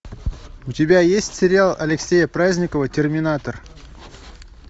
у тебя есть сериал алексея праздникова терминатор